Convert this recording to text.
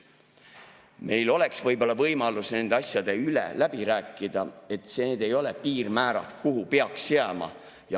Meil oleks võib-olla võimalus nende asjade üle läbi rääkida, et need ei ole piirmäärad, kuhu peaks jääma.